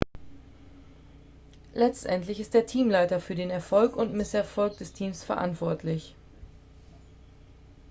letztendlich ist der teamleiter für den erfolg und misserfolg des teams verantwortlich